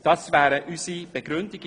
Dies sind unsere Begründungen.